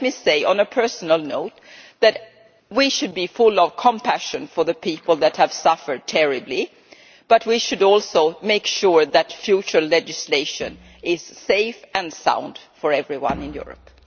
And let me say, on a personal note, that we should be full of compassion for the people who have suffered terribly, but we should also make sure that future legislation is safe and sound for everyone in Europe.